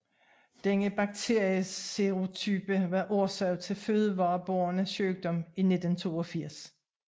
Denne bakterieserotype var årsag til fødevarebåren sygdom i 1982